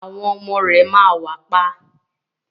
Àwọn ọmọ rẹ ma wà pa.